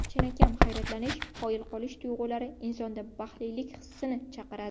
Chinakam hayratlanish, qoyil qolish tuyg‘ulari insonda baxtlilik hissini chaqiradi.